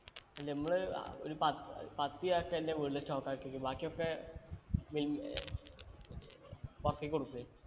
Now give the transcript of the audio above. നമ്മൾ അഹ് ഒരു പ പത്ത് ചാക്ക് എന്റെ വീട്ടില് stock ആക്കി വെക്കും ബാക്കിയൊക്കെ മിൽമ് ഏർ പൊറത്തേയ്ക്ക് കൊടുക്കുവെ